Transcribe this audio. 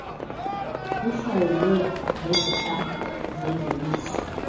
uhlawulwe ngezitampu zengeniso